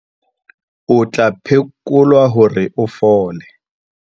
O tla phekolwa hore a fole.